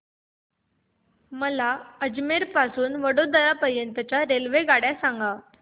मला अजमेर पासून तर वडोदरा पर्यंत च्या रेल्वेगाड्या सांगा